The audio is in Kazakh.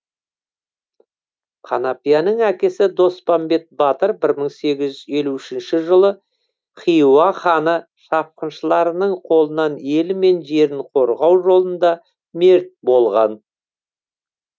қанапияның әкесі доспамбет батыр бір мың сегіз жүз елу үшінші жылы хиуа ханы шапқыншыларының қолынан елі мен жерін қорғау жолында мерт болған